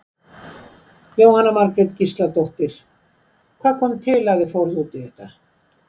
Jóhanna Margrét Gísladóttir: Hvað kom til að þið fóruð út í þetta?